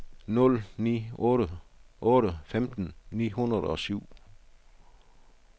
nul ni otte otte femten ni hundrede og syv